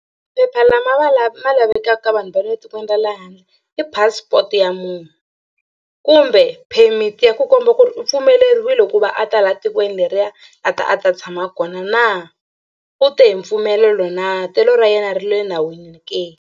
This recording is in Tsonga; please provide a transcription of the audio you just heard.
Phepha lama ma lavekaka vanhu va le tikweni ra le handle i passport ya munhu kumbe permit ya ku komba ku ri u pfumeleriwile ku va a ta laha tikweni leriya a ta a ta tshama kona na u te hi mpfumelelo na telo ra yena ri le nawini ke.